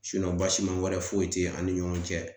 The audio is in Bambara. basima wɛrɛ foyi te an ni ɲɔgɔn cɛ .